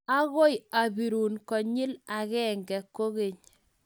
agoi abirun konyil agenge kogeny